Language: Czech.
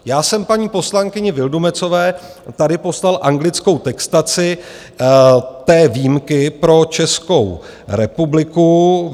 Já jsem paní poslankyni Vildumetzové tady poslal anglickou textaci té výjimky pro Českou republiku.